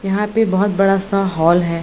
यहाँ पे बहोत बडा सा हॉल है।